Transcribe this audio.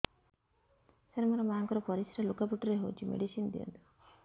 ସାର ମୋର ମାଆଙ୍କର ପରିସ୍ରା ଲୁଗାପଟା ରେ ହଉଚି ମେଡିସିନ ଦିଅନ୍ତୁ